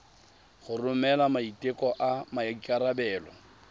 go romela maiteko a maikarebelo